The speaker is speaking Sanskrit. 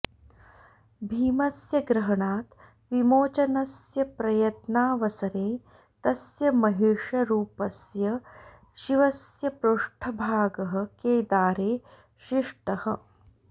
भीमस्य ग्रहणात् विमोचनस्य प्रयत्नावसरे तस्य महिषरूपस्य शिवस्य पृष्ठभागः केदारे शिष्टः